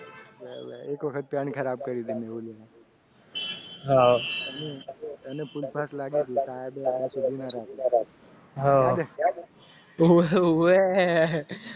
હા